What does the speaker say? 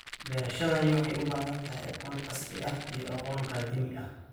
Beerashadani waxay u baahan tahay aqoon casri ah iyo aqoon qadiimi ah.